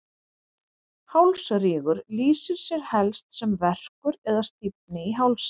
Hálsrígur lýsir sér helst sem verkur eða stífni í hálsi.